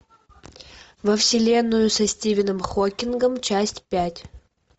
во вселенную со стивеном хокингом часть пять